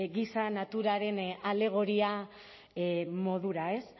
giza naturaren alegoria modura ez